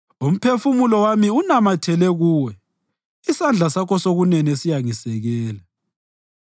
Umphefumulo wami unamathele Kuwe; isandla sakho sokunene siyangisekela.